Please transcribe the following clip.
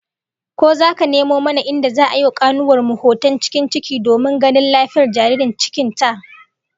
Ko zaka nemo mana inda za'a yi wa kanuwar mu hoton cikin ciki domin ganin lafiyar jaririn cikin ta?